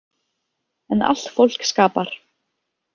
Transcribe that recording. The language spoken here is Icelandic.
En allt fólk skapar.